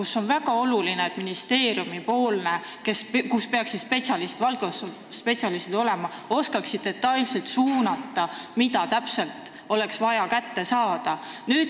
Seal on väga oluline, et ministeeriumi valdkonnaspetsialistid oskaksid detailselt suunata, mida täpselt oleks vaja kätte saada.